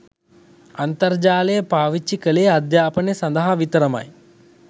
අන්තර්ජාලය පාවිච්චි කලේ අධ්‍යාපනය සඳහා විතරමයි